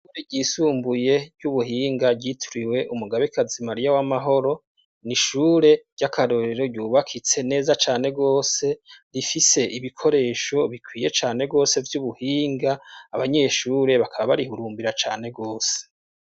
Ishuri ryisumbuye ry'ubuhinga ryitriwe umugabekazi Maria w'amahoro nishure ry'akarorero ryubakitse neza cane gose rifise ibikoresho bikwiye cane gose vy'ubuhinga abanyeshure bakaba barihurumbira cane gose.